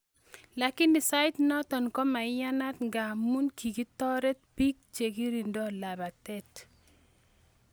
Lakini sait notok komaiyanat nga muu kikitoret pik chekirindo labatet